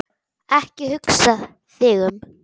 Ekki hugsa þig um.